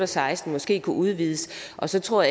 seksten måske kunne udvides og så tror